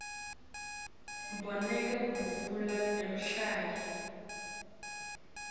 bomake bavunula emahinya